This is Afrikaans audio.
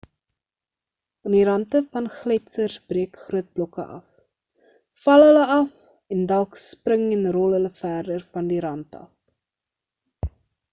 aan die rante van gletsers breek groot blokke af val hulle af en dalk spring en rol hulle verder van die rant af